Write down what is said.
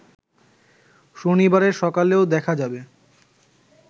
শনিবারের সকালেও দেখা যাবে